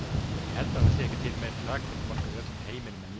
Ég held að það sé ekki til meiri hrakfallabálkur í öllum heiminum en ég.